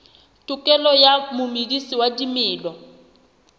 tokelo ya momedisi wa dimela